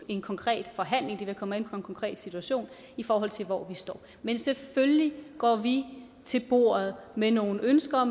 en konkret forhandling det vil komme en konkret situation i forhold til hvor vi står men selvfølgelig går vi til bordet med nogle ønsker